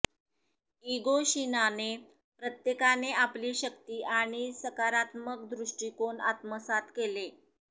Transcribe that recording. इगोशिनाने प्रत्येकाने आपली शक्ती आणि सकारात्मक दृष्टिकोन आत्मसात केले